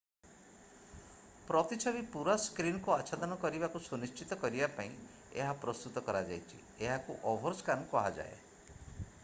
ପ୍ରତିଛବି ପୁରା ସ୍କ୍ରିନ୍ କୁ ଆଚ୍ଛାଦନ କରିବାକୁ ସୁନିଶ୍ଚିତ କରିବା ପାଇଁ ଏହା ପ୍ରସ୍ତୁତ କରାଯାଇଛି ଏହାକୁ ଓଭରସ୍କ୍ୟାନ୍ କୁହାଯାଏ